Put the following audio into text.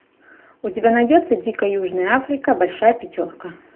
у тебя найдется дикая южная африка большая пятерка